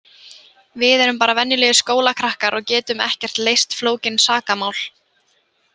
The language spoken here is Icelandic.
Við erum bara venjulegir skólakrakkar og getum ekkert leyst flókin sakamál.